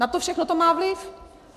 Na to všechno to má vliv.